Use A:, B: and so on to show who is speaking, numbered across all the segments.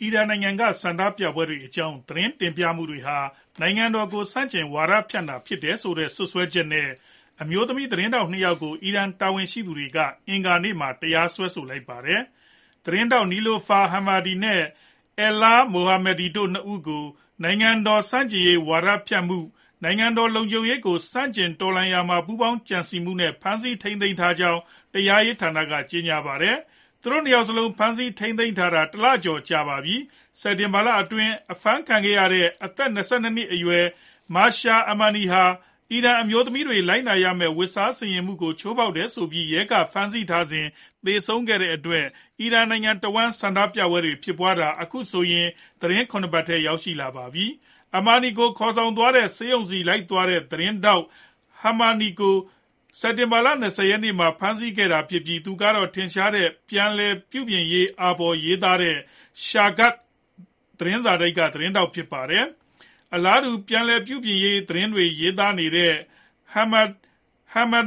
A: အီရန်နိုင်ငံက ဆန္ဒပြပွဲတွေအကြောင်း သတင်းတင်ပြမှုတွေဟာ နိုင်ငံတော်ကို ဆန့်ကျင်ဝါဒဖြန့်တာ ဖြစ်တယ်ဆိုတဲ့ စွပ်စွဲချက်နဲ့ အမျိုးသမီးသတင်းထောက်နှစ်ဦးကို အီရန်တာဝန်ရှိသူတွေက အင်္ဂနေ့မှာ တရားစွဲဆိုလိုက်ပါတယ်။ သတင်းထောက် Niloufar Hamedi နဲ့ Elaheh Mohammadi တို့နှစ်ဦးကို နိုင်ငံတော်ဆန့်ကျင်ရေး ဝါဒဖြန့်မှုနဲ့ နိုင်ငံတော်လုံခြုံရေးကို ဆန့်ကျင်တော်လှန်မှုမှာ ပူးပေါင်းကြံစည်မှုနဲ့ ဖမ်းဆီးထိန်းသိမ်းထားကြောင်း တရားရေးဌာနက ကြေညာပါတယ်။ သူတို့နှစ်ဦးစလုံး ဖမ်းဆီးထိန်းသိမ်းခံထားရတာ တလကျော်ကြာပါပြီ။ စက်တင်ဘာလအတွင်းအဖမ်းခံရတဲ့ အသက် ၂၂ နှစ် အရွယ် Mahsa Amini ဟာ အီရန်အမျိုးသမီးတွေ လိုက်နာရမယ့် ဝတ်စားဆင်ယင်မှုပုံစံကို ချိုးဖောက်တယ်ဆိုပြီး ရဲကဖမ်းဆီးထားစဉ် သေဆုံးသွားခဲ့တဲ့အတွက် အီရန်နိုင်ငံတဝန်းဆန္ဒပြနေကြတာ အခုဆိုရင် သီတင်းပတ် ၇ ပတ်ထဲ ရောက်လာပါပြီ။ Amini ကိုေ ခါ်သွားတဲ့ ဆေးရုံဆီလိုက်သွားတဲ့ သတင်းထောက် Hamedi ကို စက်တင်ဘာ ၂၀ ရက်နေ့မှာ ဖမ်းဆီးခဲ့တာဖြစ်ပြီး သူကတော့ ထင်ရှားတဲ့ ပြန်လည်ပြုပြင်ရေးအာဘော်တွေရေးတဲ့ Shargh သတင်းစာတိုက်ကသတင်းထောက်ဖြစ်ပါတယ်။ အလားတူပဲ ပြန်လည်ပြုပြင်ပြောင်းလဲရေးသတင်းတွေရေးတဲ့ Ham-Mihan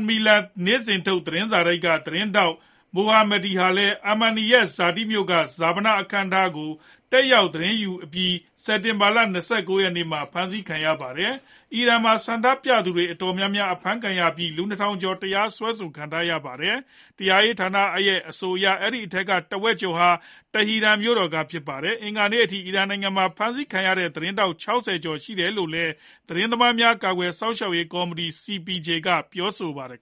A: နေ့စဉ်ထုတ်သတင်းစာတိုက်က သတင်းထောက် Mohammadi လည်း Amini ရဲ့ ဇာတိမြို့က ဈာပနအခမ်းအနားကို တက်ရောက်သတင်းယူအပြီး စက်တင်ဘာ ၂၉ ရက်နေ့မှာ အဖမ်းခံရတာဖြစ်ပါတယ်။ အီရန်မှာ ဆန္ဒပြသူတွေ အတော်များများ အဖမ်းခံရပြီး လူ၂ ထောင်ကျော် တရားစွဲခံထားရပါတယ်။ တရားရေးဌာနရဲ့အဆိုအရ အဲဒီထဲက တဝက်ကျော်က Tehran ကဖြစ်ပါတယ်။ အင်္ဂါနေ့ထိ အီရန်နိုင်ငံမှာ အဖမ်းခံထားရတဲ့ သတင်းထောက် ၆၀ ကျော်ရှိတယ်လို့လည်း သတင်းသမားများကာကွယ်စောင့်ရှောက်ရေးကော်မတီ CPJ ကပြောပါတယ်